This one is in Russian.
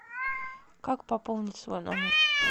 как пополнить свой номер